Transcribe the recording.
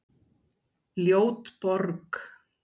Ljót borg